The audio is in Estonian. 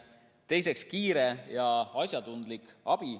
Teiseks, kiire ja asjatundlik abi.